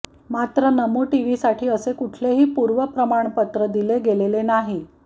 मात्र नमो टीव्हीसाठी असे कुठलेही पूर्व प्रमाणपत्र दिले गेलेले नाही